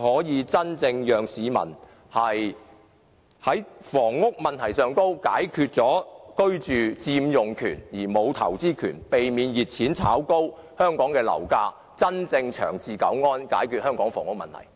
這樣既可解決市民的居住問題，而由於買家有佔用權而沒有投資權，亦避免了熱錢炒高樓價，政府便可真正長治久安，解決香港房屋問題。